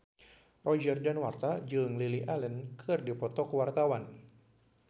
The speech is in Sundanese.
Roger Danuarta jeung Lily Allen keur dipoto ku wartawan